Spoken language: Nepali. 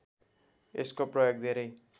यसको प्रयोग धेरै